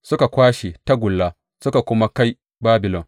Suka kwashe tagulla duka suka kai Babilon.